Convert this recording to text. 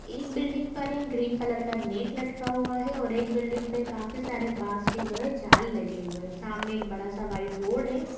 एक बिल्डिंग पर एक ग्रीन कलर का नेट लटका हुआ है और एक बिल्डिंग पे काफी सारे बॉस के जो हैं जाल लगे हुए हैं | सामने एक बड़ा सा वाइट बोर्ड है |